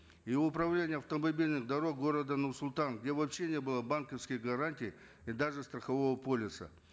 и в управлении автомобильных дорог города нур султан где вообще не было банковских гарантий и даже страхового полиса